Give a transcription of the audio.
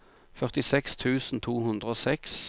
førtiseks tusen to hundre og seks